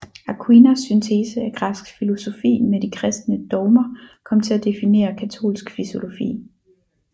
Aquinas syntese af græsk filosofi med de kristne dogmer kom til at definere katolsk filosofi